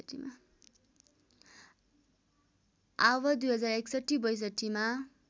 आव २०६१ २०६२ मा